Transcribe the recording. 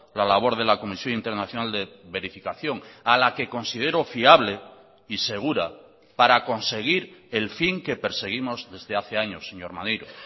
la labor de la comisión internacional de verificación a la que considero fiable y segura para conseguir el fin que perseguimos desde hace años señor maneiro